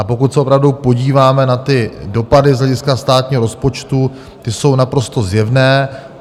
A pokud se opravdu podíváme na ty dopady z hlediska státního rozpočtu, ty jsou naprosto zjevné.